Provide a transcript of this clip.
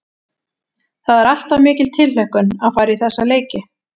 Það er alltaf mikil tilhlökkun að fara í þessa leiki.